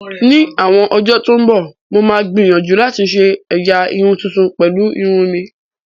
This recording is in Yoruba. Ní àwọn ọjọ́ tó ń bọ̀, mo máa gbìyànjú láti ṣe ẹ̀yà irun tuntun pẹ̀lú irun mi